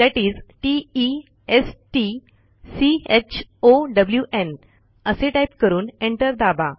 that is t e s t c h o w न् असे type करून enter दाबा